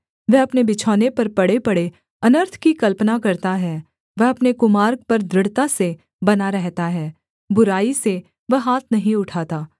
वह अपने बिछौने पर पड़ेपड़े अनर्थ की कल्पना करता है वह अपने कुमार्ग पर दृढ़ता से बना रहता है बुराई से वह हाथ नहीं उठाता